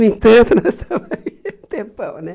No entanto, nós estamos aí um tempão, né?